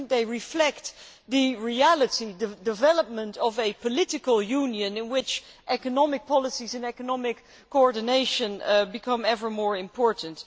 they reflect the reality of the development of a political union in which economic policies and economic coordination become ever more important.